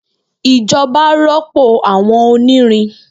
Ijoba rọpo awọn onirin